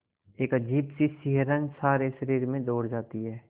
एक अजीब सी सिहरन सारे शरीर में दौड़ जाती है